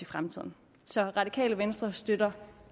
fremtiden så det radikale venstre støtter